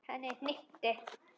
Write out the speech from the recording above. Henni hnykkti við.